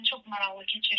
Yəni çox maraqlı keçir.